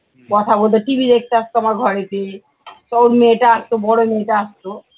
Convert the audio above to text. tv দেখতে আস্ত আমার ঘরেতে তা ওর মেয়েটা আসত বড় মেয়েটা আসতো